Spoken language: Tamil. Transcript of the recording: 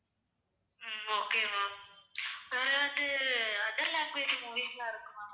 உம் okay ma'am அதாவது other language movies எல்லாம் இருக்குமா